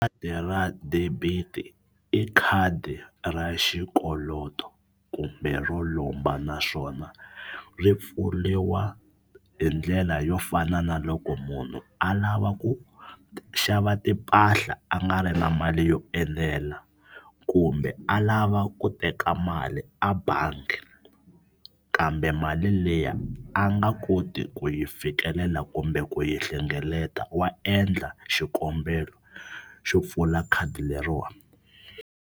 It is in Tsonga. Khadi ra debit i khadi ra xikoloto kumbe ro lomba naswona ri pfuriwa hi ndlela yo fana na loko munhu a lava ku xava timpahla a nga ri na mali yo enela kumbe a lava ku teka mali a bangi kambe mali liya a nga koti ku yi fikelela kumbe ku yi hlengeleta wa endla xikombelo xo pfula khadi leriwani.